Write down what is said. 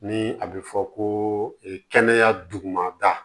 Ni a bɛ fɔ ko kɛnɛya dugumada